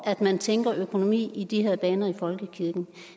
at man tænker økonomi i de her baner i folkekirken